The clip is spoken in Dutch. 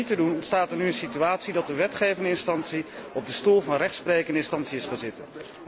Door dat niet te doen, ontstaat er nu een situatie dat de wetgevende instantie op de stoel van rechtsprekende instantie is gaan zitten.